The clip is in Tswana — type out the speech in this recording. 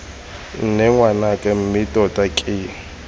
nne ngwanake mme tota ke